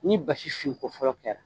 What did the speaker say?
Ni basi fin ko fɔlɔ kɛra